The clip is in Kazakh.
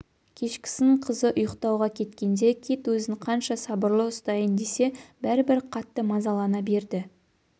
кешкісін қызы ұйықтауға кеткенде кит өзін қанша сабырлы ұстайын десе бәрібір қатты мазалана берді